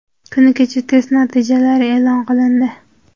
Kuni kecha test natijalari e’lon qilindi.